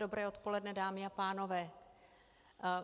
Dobré odpoledne, dámy a pánové.